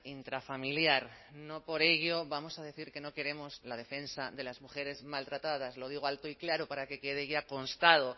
intrafamiliar no por ello vamos a decir que no queremos la defensa de las mujeres maltratadas lo digo alto y claro para que quede ya constado